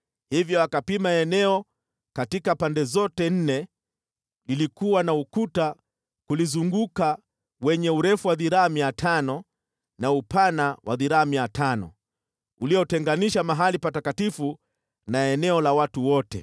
Hivyo akapima eneo katika pande zote nne. Lilikuwa na ukuta kulizunguka wenye urefu wa dhiraa 500 na upana wa dhiraa 500, uliotenganisha mahali Patakatifu na eneo la watu wote.